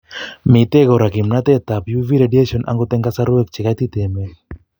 Mitei kora kimnatetab uv radiation akot eng' kasarwek chekaitit emet